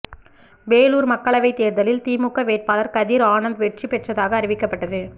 வேலூர் மக்களவை தேர்தலில் திமுக வேட்பாளர் கதிர் ஆனந்த் வெற்றி பெற்றதாக அறிவிக்கப்பட்டது